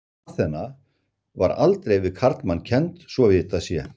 Aþena var aldrei við karlmann kennd svo að vitað sé.